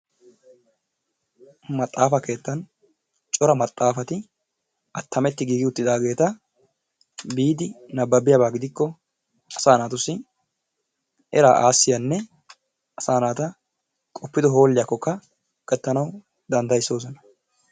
Maxaafa keettan cora maxaafati attametti giige uttidaageta biidi nabbabiyaaba gidikko asaa naatussi eraa aassiyanne asaa naata qoppido hooliyakkokka gattanawu danddayisoosona.